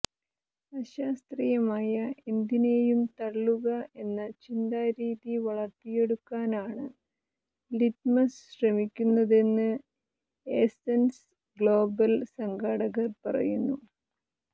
അശാസ്ത്രീയമായ എന്തിനെയും തള്ളുക എന്ന ചിന്താരീതി വളർത്തിയെടുക്കാനാണ് ലിറ്റ്മസ് ശ്രമിക്കുന്നതെന്ന് ഏസ്സൻസ് ഗ്ലോബൽ സംഘാടകർ പറയുന്നു